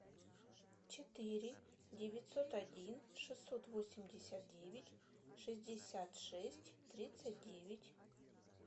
четыре девятьсот один шестьсот восемьдесят девять шестьдесят шесть тридцать девять